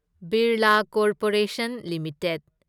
Birla corporation limited